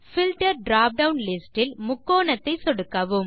filter drop down list இல் முக்கோணத்தை சொடுக்கவும்